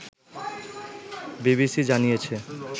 BBC জানিয়েছে